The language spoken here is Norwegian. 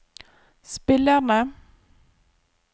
spillerne